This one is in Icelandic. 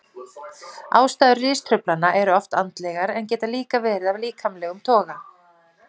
Ástæður ristruflana eru oft andlegar en geta líka verið af líkamlegum toga.